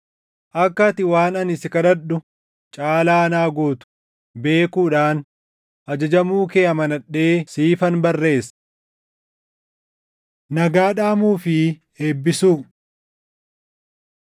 Akka ati waan ani si kadhadhu caalaa naa gootu beekuudhaan ajajamuu kee amanadhee siifan barreessa. Nagaa Dhaamuu fi Eebbisuu